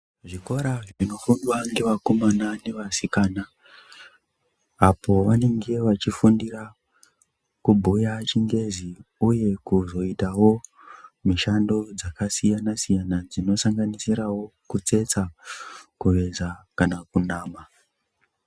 Zvikora zvinofundwa nevakomana nevasikana apo vanenge vachifundira kubhuya chingezi uye kuzoitawo mishando dzakasiyana siyana dzino sanganisira kutsetsa kuveza kana kunama.